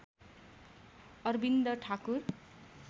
Arvind Thakur